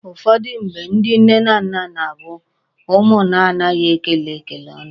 Ụfọdụ mgbe, ndị nne na nna na-abụ ụmụ na-anaghi ekele ekele ọnụ.